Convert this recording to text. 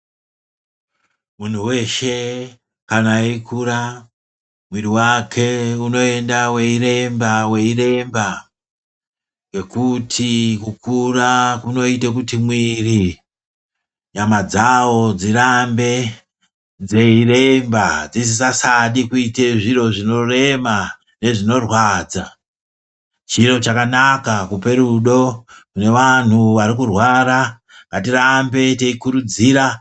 Munhu veshe kana eikura muviri vake unoenda veiremba veiremba ngekuti kukura kunoite kuti mwiri nyama dzawo dzirambe dzeiremba dzisisasadi kuite zviro zvinorema nezvinorwadza . Chiro chakanaka kupe rudo kune vanhu varikurwara hatirambe teikurudzira